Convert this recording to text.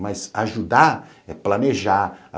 Mas ajudar é planejar.